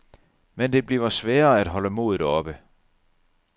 Men det bliver sværere at holde modet oppe.